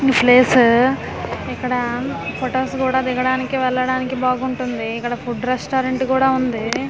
ఈ ఫ్లేస్ ఇక్కడా ఫొటోస్ కూడా దిగడానికి వెళ్లడానికి బాగుంటుంది ఇక్కడ ఫుడ్ రెస్టారెంట్ కూడా ఉంది.